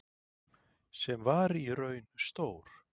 Sem var í raun stór